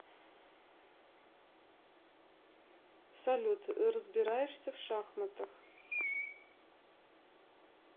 салют разбираешься в шахматах